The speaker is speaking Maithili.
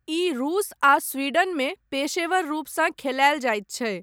ई रूस आ स्वीडन मे पेशेवर रूपसँ खेलायल जायत छै।